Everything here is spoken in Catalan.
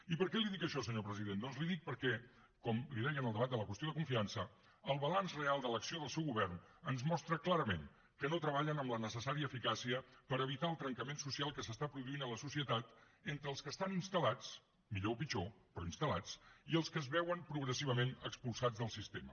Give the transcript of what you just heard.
i per què li dic això senyor president doncs li ho dic perquè com li deia en el debat de la qüestió de confiança el balanç real de l’acció del seu govern ens mostra clarament que no treballen amb la necessària eficàcia per evitar el trencament social que es produeix en la societat entre els que estan instal·lats millor o pitjor però instal·lats i els que es veuen progressivament expulsats del sistema